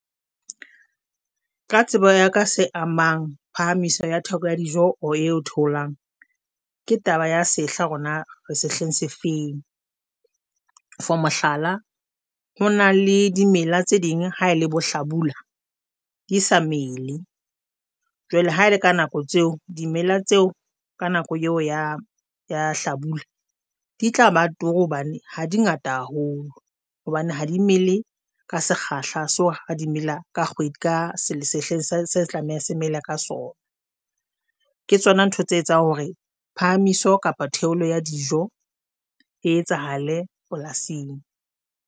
Ka tsebo ya ka se amang phahamiso ya theko ya dijo or e tholang, ke taba ya sehla hore na re sehleng se feng. For mohlala ho na le dimela tse ding ha ele bo hlabula di sa mele jwale ha ele ka nako tseo dimela tseo ka nako eo ya ya hlabula di tla ba turu hobane ha di ngata haholo hobane ha dimele ka sekgahla so ha dimela a ka kgwedi ka se sehleng se se ka sona ke tsona ntho tse etsang hore phahamiso kapa theolo ya dijo e etsahale polasing.